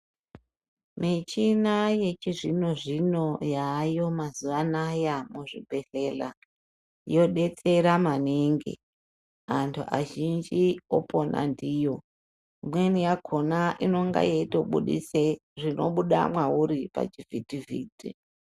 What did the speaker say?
Michina yechizvino zvino yaayo mazuva anoaya kuzvibhedhlera yodetsera maningi antu azhinji opona ndiyo imweni yakona ine ge yeitobudisa zvinobuda mauri pachivhiti vhiti.